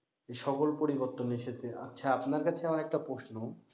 এ সকল পরিবর্তন এসেছে। আচ্ছা আপনার কাছে আমার একটা প্রশ্ন,